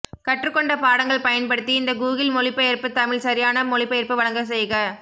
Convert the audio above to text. கற்றுக்கொண்ட பாடங்கள் பயன்படுத்தி இந்த கூகிள் மொழிபெயர்ப்பு தமிழ் சரியான மொழிபெயர்ப்பு வழங்க செய்க